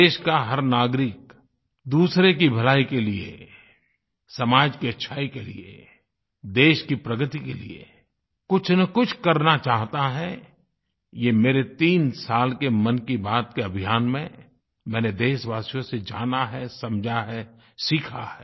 देश का हर नागरिक दूसरे की भलाई के लिए समाज की अच्छाई के लिए देश की प्रगति के लिए कुछनकुछ करना चाहता है ये मेरे तीन साल के मन की बात के अभियान में मैंने देशवासियों से जाना है समझा है सीखा है